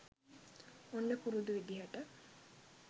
ඔන්න පුරුදු විදිහට